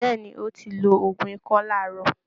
Bẹ́ẹ̀ ni, ó ti lo òògùn ikọ́ láàárọ̀